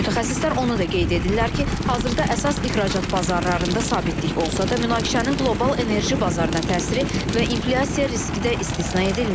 Mütəxəssislər onu da qeyd edirlər ki, hazırda əsas ixracat bazarlarında sabitlik olsa da, münaqişənin qlobal enerji bazarına təsiri və inflyasiya riski də istisna edilmir.